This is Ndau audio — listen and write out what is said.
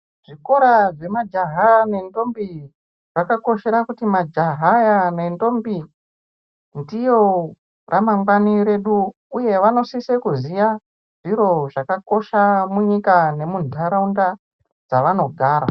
Zvikora zve majaha ne ndombi zvakakoshera kuti majaha aya ne ndombi ndiyo ra mangwani redu uye vanosise kuziya zviro zvakakosha munyika nemu ndaraunda dzavano gara.